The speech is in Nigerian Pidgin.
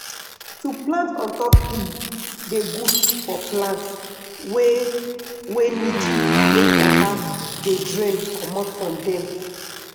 to plant on top hill dey good for plant wey wey need make water dey drain comot from dem.